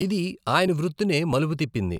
ఇది ఆయన వృత్తినే మలుపు తిప్పింది.